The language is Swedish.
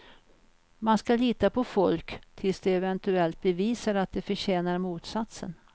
Man ska lita på folk tills de eventuellt bevisar att de förtjänar motsatsen.